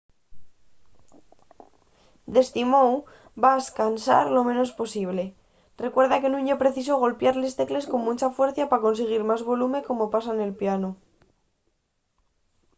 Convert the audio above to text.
d’esti mou vas cansar lo menos posible recuerda que nun ye preciso golpiar les tecles con muncha fuercia pa consiguir más volume como pasa nel pianu